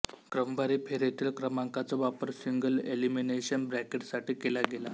क्रमवारी फेरीतील क्रमांकांचा वापर सिंगलएलिमिनेशन ब्रॅकेटसाठी केला गेला